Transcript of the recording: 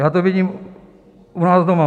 Já to vidím u nás doma.